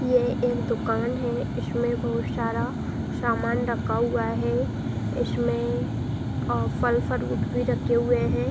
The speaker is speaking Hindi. ये एक दुकान है इसमें बहुत सारा समान रखा हुआ है इसमें फल-फ्रुट भी रखे हुए हैं।